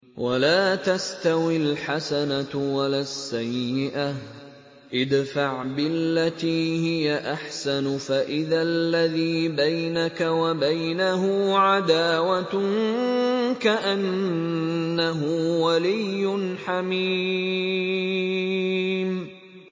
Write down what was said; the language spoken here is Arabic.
وَلَا تَسْتَوِي الْحَسَنَةُ وَلَا السَّيِّئَةُ ۚ ادْفَعْ بِالَّتِي هِيَ أَحْسَنُ فَإِذَا الَّذِي بَيْنَكَ وَبَيْنَهُ عَدَاوَةٌ كَأَنَّهُ وَلِيٌّ حَمِيمٌ